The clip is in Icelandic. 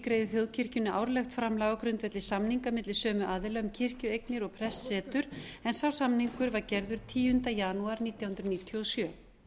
greiði þjóðkirkjunni árlegt framlag á grundvelli samninga milli sömu aðila um kirkjueignir og prestssetur en sá samningur var gerður tíunda janúar nítján hundruð níutíu og sjö